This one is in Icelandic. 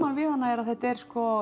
við hana er að þetta er